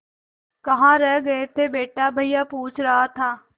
कहाँ रह गए थे बेटा भैया पूछ रहा था